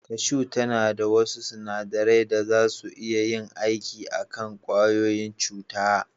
Kashu tana da wasu sunadarai da zasu iya yin aiki a kan ƙwayoyin cuta.